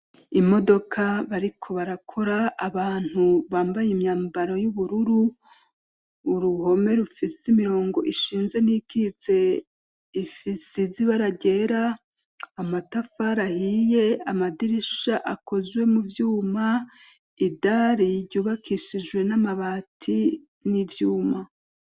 Imodoka bariko barakora, abantu bambaye imyambaro y'ubururu, uruhome rufisi imirongo ishinze n'iyikitse, isize ibara ryera, amatafari ahiye, amadirisha akozwe mu vyuma, idari ryubakishijwe n'amabati n'ivyuma.